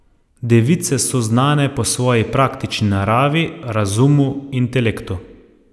Device so znane po svoji praktični naravi, razumu, intelektu.